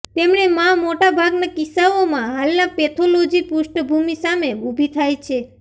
તેમણે માં મોટા ભાગના કિસ્સાઓમાં હાલના પેથોલોજી પૃષ્ઠભૂમિ સામે ઊભી થાય છે